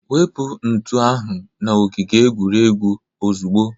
Wepu ntu ahụ n'ogige egwuregwu ozugbo!